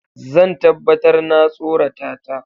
Zan tabbatar na tsorata ta.